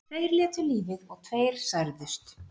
Tveir létu lífið og tveir særðust